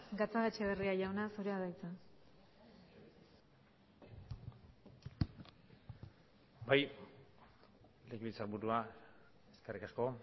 gatzagaetxebarria jauna zurea da hitza bai legebiltzarburua eskerrik asko